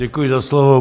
Děkuji za slovo.